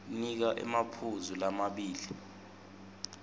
nika emaphuzu lamabili